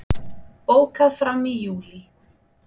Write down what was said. Bókað fram í júlí